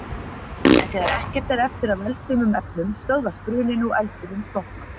En þegar ekkert er eftir af eldfimum efnum stöðvast bruninn og eldurinn slokknar.